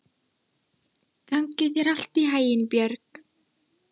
Gangi þér allt í haginn, Björg.